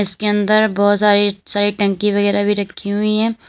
उसके अंदर बहुत सारी सारी टंकी वगैरा भी रखी हुई है।